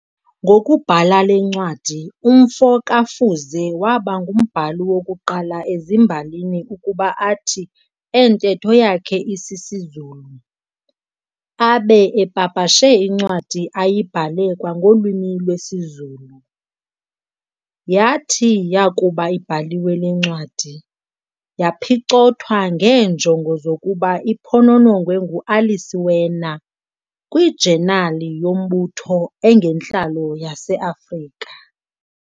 Ngokubhala le ncwadi, umfo kaFuze waba ngumbhali wokuqala ezimbalini ukuba athi entetho yakhe isisiZulu, abe epapashe incwadi ayibhale kwangolwimi lwesiZulu. Yathi yakuba ibhaliwe le ncwadi, yaphicothwa ngeenjongo zokuba iphononongwe nguAlice Werner "kwiJenali yombutho engentlalo yaseAfrika."